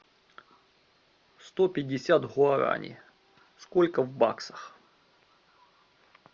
сто пятьдесят гуарани сколько в баксах